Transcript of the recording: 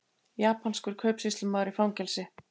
Japanskur kaupsýslumaður í fangelsi